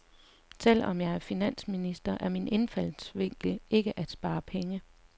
Selv om jeg er finansminister, er min indfaldsvinkel ikke at spare penge.